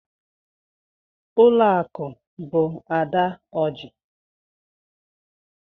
Ụlọakụ bụ Ada Ọji.